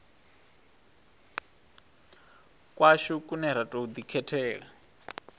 kwashu kune ra tou ḓikhethela